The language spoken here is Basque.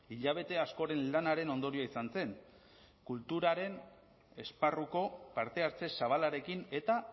hilabete askoren lanaren ondorioa izan zen kulturaren esparruko parte hartze zabalarekin eta